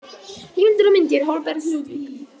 Heimildir og myndir: Holberg, Ludvig.